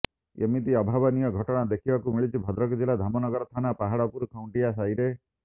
ଏମିତି ଅଭାବନୀୟ ଘଟଣା ଦେଖିବାକୁ ମିଳିଛି ଭଦ୍ରକ ଜିଲ୍ଲା ଧାମନଗର ଥାନା ପାହାଡପୁର ଖୁଣ୍ଟିଆ ସାହିରେ